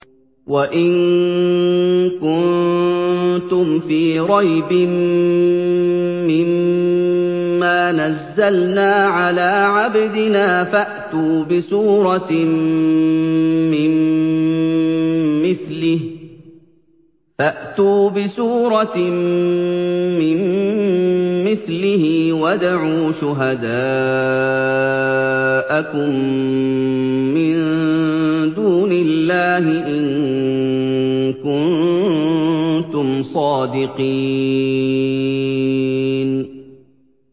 وَإِن كُنتُمْ فِي رَيْبٍ مِّمَّا نَزَّلْنَا عَلَىٰ عَبْدِنَا فَأْتُوا بِسُورَةٍ مِّن مِّثْلِهِ وَادْعُوا شُهَدَاءَكُم مِّن دُونِ اللَّهِ إِن كُنتُمْ صَادِقِينَ